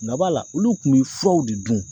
Nga b'ala olu kun be furaw de dun